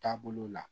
Taabolo la